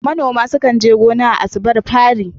Manoma sukan je gona a asubar fari.